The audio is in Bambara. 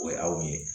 O ye aw ye